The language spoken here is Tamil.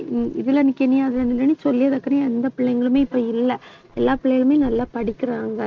ஹம் எந்த பிள்ளைங்களுமே இப்ப இல்லை. எல்லா பிள்ளைகளுமே நல்லா படிக்கிறாங்க